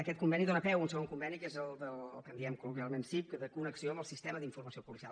aquest conveni dóna peu a un segon conveni que és el que en diem col·loquialment sip de connexió amb el sistema d’informació policial